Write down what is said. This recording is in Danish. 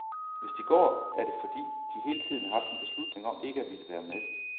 Hvis de går, er det fordi, de hele tiden har haft en beslutning om ikke at ville være med.